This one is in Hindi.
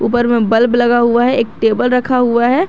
ऊपर में बल्ब लगा हुआ है एक टेबल रखा हुआ है।